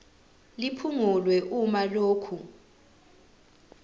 liphungulwe uma lokhu